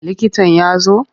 Likitan ya zo?